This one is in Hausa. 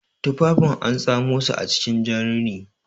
Tufafin an tsomasu acikin jan rini